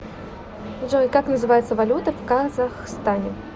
джой как называется валюта в казахстане